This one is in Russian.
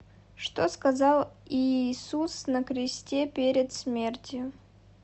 что сказал иисус на кресте перед смертью